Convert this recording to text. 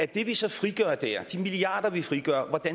det vi så frigør der de milliarder vi frigør